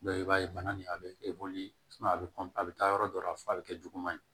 i b'a ye bana nin a be e boli a be a be taa yɔrɔ dɔ la f'a be kɛ juguman ye